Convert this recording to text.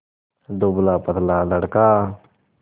दुबलापतला लड़का